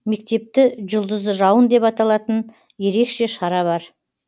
мектепті жұлдызды жауын деп аталатын ерекше шара бар